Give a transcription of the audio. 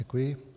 Děkuji.